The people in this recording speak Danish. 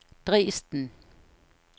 Dresden